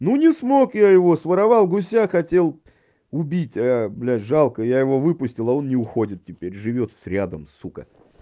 ну не смог я его своровал гуся хотел убить а блядь жалко я его выпустил а он не уходит теперь живёт с рядом с сука